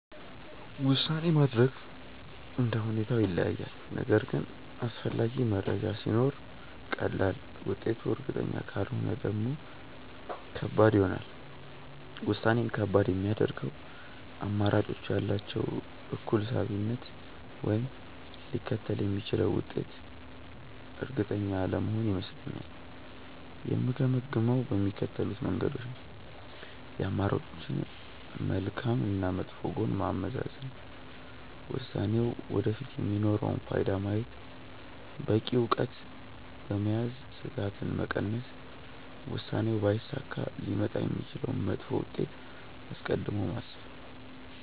ውሳኔ ማድረግ እንደ ሁኔታው ይለያያል፤ ነገር ግን አስፈላጊ መረጃ ሲኖር ቀላል፣ ውጤቱ እርግጠኛ ካልሆነ ደግሞ ከባድ ይሆናል። ውሳኔን ከባድ የሚያደርገው አማራጮቹ ያላቸው እኩል ሳቢነት ወይም ሊከተል የሚችለው ውጤት እርግጠኛ አለመሆን ይመስለኛል። የምገመግመው በሚከተሉት መንገዶች ነው፦ የአማራጮችን መልካም እና መጥፎ ጎን ማመዛዘን፣ ውሳኔው ወደፊት የሚኖረውን ፋይዳ ማየት፣ በቂ እውቀት በመያዝ ስጋትን መቀነስ፣ ውሳኔው ባይሳካ ሊመጣ የሚችለውን መጥፎ ውጤት አስቀድሞ ማሰብ።